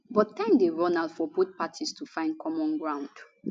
but time dey run out for both parties to find common ground